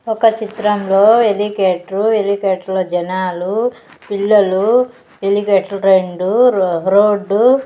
ఒక చిత్రంలో హెలికేటర్ హెలికాటర్లో జనాలు పిల్లలు హెలికెటర్ రెండు రో-- రోడ్డు .